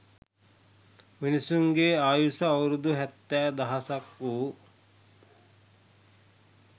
මිනිසුන්ගේ ආයුෂ අවුරුදු හැත්තෑ දහසක් වූ